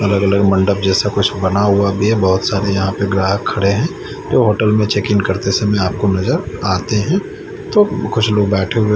अलग अलग मंडप जैसे कुछ बना हुआ भी है बहोत सारे यहां पे ग्राहक खड़े है जो होटल में चेकिंग करते समय आपको नजर आते है तो कुछ लोग बैठे हुए--